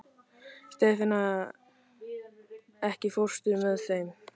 Stefana, ekki fórstu með þeim?